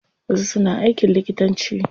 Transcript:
Wasu suna aikin likitanci.